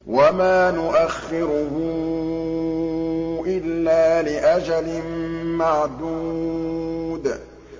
وَمَا نُؤَخِّرُهُ إِلَّا لِأَجَلٍ مَّعْدُودٍ